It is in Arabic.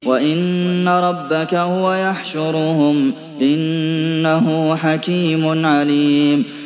وَإِنَّ رَبَّكَ هُوَ يَحْشُرُهُمْ ۚ إِنَّهُ حَكِيمٌ عَلِيمٌ